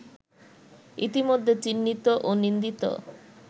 ইতিমধ্যে চিহ্নিত ও নিন্দিত